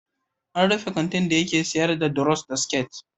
An rufe kantin dake sayar da duros da siket.